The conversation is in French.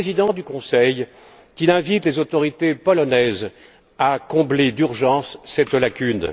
M. le Président du Conseil qu'il invite les autorités polonaises à combler d'urgence cette lacune.